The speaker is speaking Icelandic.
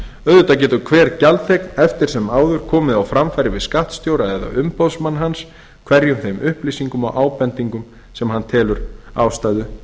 auðvitað getur hver gjaldþegn eftir sem áður komið á framfæri við skattstjóra eða umboðsmann hans hverjum þeim upplýsingum og ábendingum sem hann telur ástæðu